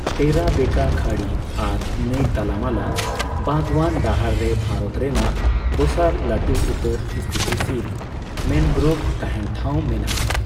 ᱴᱮᱨᱟ ᱵᱮᱸᱠᱟ ᱠᱷᱟᱸᱲᱤ ᱟᱨ ᱱᱟᱹᱭ ᱛᱟᱞᱟᱢᱟᱞᱟ ᱵᱟᱜᱣᱟᱱ ᱰᱟᱦᱟᱨ ᱨᱮ ᱵᱷᱟᱨᱚᱛ ᱨᱮᱱᱟᱜ ᱫᱚᱥᱟᱨ ᱞᱟᱹᱴᱩ ᱩᱛᱟᱹᱨ ᱥᱛᱷᱤᱛᱤᱥᱤᱞ ᱢᱮᱱᱜᱨᱳᱵᱷ ᱛᱟᱦᱮᱱ ᱴᱷᱟᱶ ᱢᱮᱱᱟᱜᱼᱟ ᱾